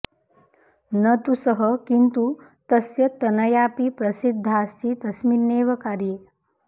न तु सः किन्तु तस्य तनयापि प्रसिद्धास्ति तस्मिन्नेव कार्ये